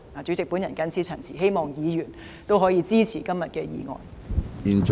主席，我謹此陳辭，希望議員支持今天的議案。